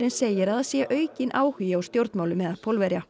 segir að það sé aukinn áhugi á stjórnmálum meðal Pólverja